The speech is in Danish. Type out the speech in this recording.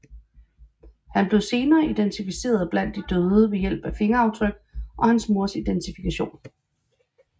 Han blev senere identificeret blandt de døde ved hjælp af fingeraftryk og hans mors identifikation